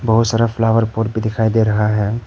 बहुत सारा flower pot भी दिखाई दे रहा है।